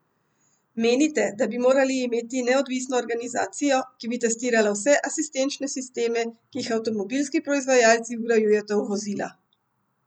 Menite, da bi morali imeti neodvisno organizacijo, ki bi testirala vse asistenčne sisteme, ki jih avtomobilski proizvajalci vgrajujete v vozila?